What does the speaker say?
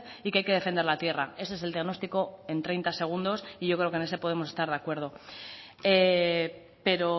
y que hay que defender la tierra ese es el diagnóstico en treinta segundos y yo creo que en ese podemos estar de acuerdo pero